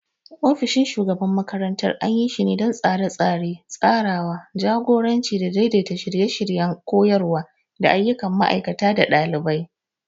Ofishin shugaban makarantar anyi shine don Tsare-tsare, tsarawa, jagoranci da daidaita shirye-shiryen koyarwa da ayyukan ma'aikata da ɗalibai.